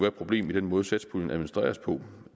et problem i den måde satspuljen administreres på